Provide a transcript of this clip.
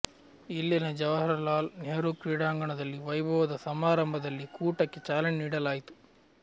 ಇಲ್ಲಿನ ಜವಾಹರಲಾಲ್ ನೆಹರು ಕ್ರೀಡಾಂಗಣದಲ್ಲಿ ವೈಭವದ ಸಮಾರಂಭದಲ್ಲಿ ಕೂಟಕ್ಕೆ ಚಾಲನೆ ನೀಡಲಾಯಿತು